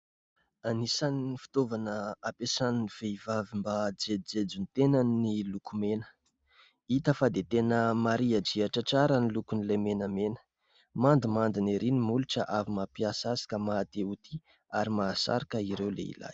Anisan'ny fitaovana ampiasain'ny vehivavy mba hahajejojejo ny tenany ny lokomena. Hita fa dia tena marihadrihatra tsara ny lokon'ilay menamena, mandimandina ery ny molotra avy mampiasa azy ka maha te ho tia ; ary mahasarika ireo lehilahy.